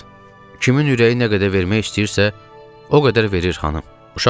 Kiminin ürəyi nə qədər vermək istəyirsə, o qədər verir, xanım.